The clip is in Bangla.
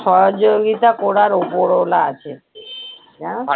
সহযোগিতা করার ওপরওয়ালা আছে। জানো তো?